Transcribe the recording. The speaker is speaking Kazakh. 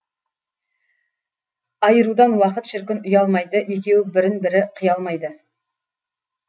айырудан уақыт шіркін ұялмайды екеуі бірін бірі қия алмайды